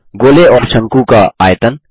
गोले और शंकु का आयतन